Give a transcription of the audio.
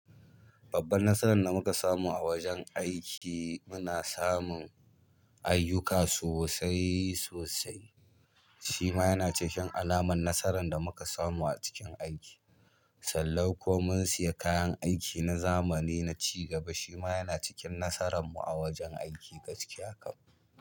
Babban nasaran da muka samu a wajen aiki muna samun aiyuka sosai sosai, shima yana cikin alaman nasaran da muka samu a cikin aiki. Sallau ko mun siya kayan aiki na zamani na cigaba, shima yana cikin nasaran mu a wajen aiki gaskiya kam.